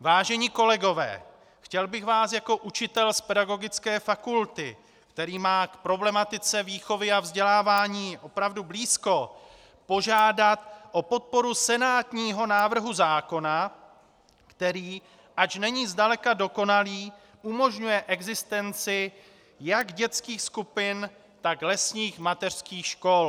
Vážení kolegové, chtěl bych vás jako učitel z pedagogické fakulty, který má k problematice výchovy a vzdělávání opravdu blízko, požádat o podporu senátního návrhu zákona, který, ač není zdaleka dokonalý, umožňuje existenci jak dětských skupin, tak lesních mateřských škol.